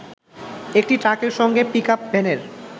একটি ট্রাকের সঙ্গে পিকআপ ভ্যানের